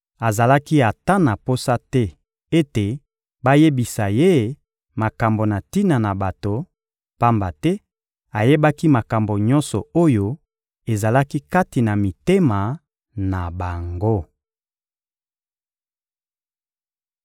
Azalaki ata na posa te ete bayebisa Ye makambo na tina na bato, pamba te ayebaki makambo nyonso oyo ezalaki kati na mitema na bango.